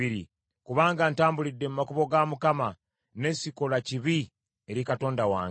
Kubanga ntambulidde mu makubo ga Mukama , ne sikola kibi eri Katonda wange.